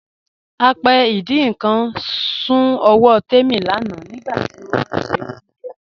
Apẹ́ ìdin nkan sún ọwọ́ Tẹ́mi lánà nigbàtí ó n ṣe ọ̀unjẹ́.